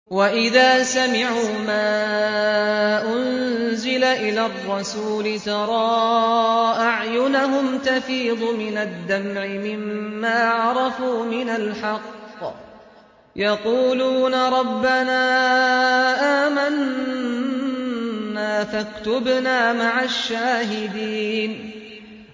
وَإِذَا سَمِعُوا مَا أُنزِلَ إِلَى الرَّسُولِ تَرَىٰ أَعْيُنَهُمْ تَفِيضُ مِنَ الدَّمْعِ مِمَّا عَرَفُوا مِنَ الْحَقِّ ۖ يَقُولُونَ رَبَّنَا آمَنَّا فَاكْتُبْنَا مَعَ الشَّاهِدِينَ